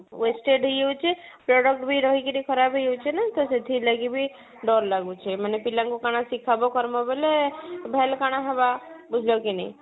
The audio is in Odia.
wasted ହେଇ ଯାଉଛି product ବି ରହିକିରି ଖରାପ ହେଇ ଯାଉଛି ନା ତ ସେଥିଲାଗି ବି ଡର ଲାଗୁଛି ମାନେ ପିଲାଙ୍କୁ କଣ ଶିଖିବା କରବୋ ବୋଲେ କଣ ହବ ବୁଝିଲ କି ନାଇଁ